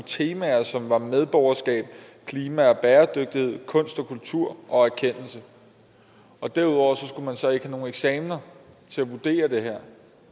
temaer som var medborgerskab klima og bæredygtighed kunst og kultur og erkendelse derudover skulle man så ikke have nogen eksamener til at vurdere det